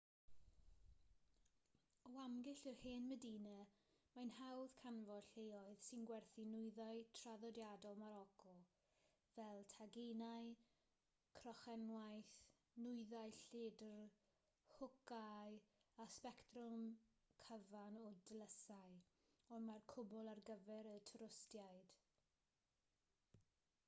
o amgylch yr hen medina mae'n hawdd canfod lleoedd sy'n gwerthu nwyddau traddodiadol moroco fel taginau crochenwaith nwyddau lledr hwcâu a sbectrwm cyfan o dlysau ond mae'r cwbl ar gyfer y twristiaid